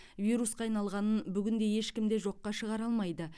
вирусқа айналғанын бүгінде ешкім де жоққа шығара алмайды